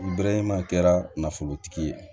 Bɛrɛman kɛra nafolotigi ye